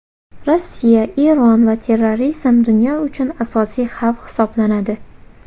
Rossiya, Eron va terrorizm dunyo uchun asosiy xavf hisoblanadi.